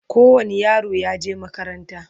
kowani yaro yaje makaranta